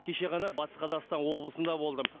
кеше ғана батыс қазақстан облысында болдым